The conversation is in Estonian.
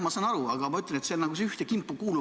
Ma saan aru, aga ma ütlen, et need kuuluvad nagu ühte kimpu.